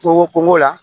Kungo kungo la